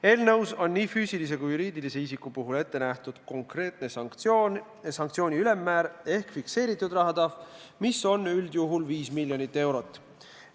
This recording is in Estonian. Eelnõus on nii füüsilise kui ka juriidilise isiku puhul ette nähtud konkreetne sanktsioon ja sanktsiooni ülemmäär ehk fikseeritud rahatrahv, mis on üldjuhul 5 miljonit eurot.